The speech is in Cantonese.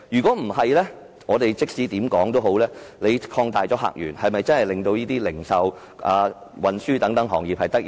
否則，即使我們能擴大客源，又是否真的能令零售和運輸等行業得益呢？